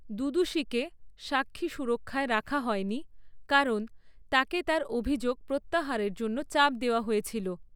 দুদুশিকে সাক্ষী সুরক্ষায় রাখা হয়নি, কারণ তাকে তার অভিযোগ প্রত্যাহারের জন্য চাপ দেওয়া হয়েছিল।